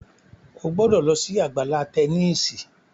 o gbó ló sì Àgbàlá Tẹníìsì!